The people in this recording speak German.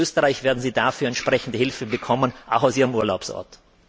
Aus Österreich werden Sie dafür entsprechende Hilfe bekommen, auch aus ihrem Urlaubsort.